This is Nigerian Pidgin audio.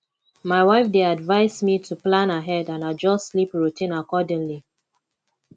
my wife dey advise me to plan ahead and adjust sleep routine accordingly